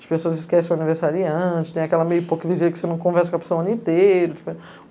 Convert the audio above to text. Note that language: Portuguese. As pessoas esquecem o aniversário antes, tem aquela meia hipocrisia que você não conversa com a pessoa o ano inteiro.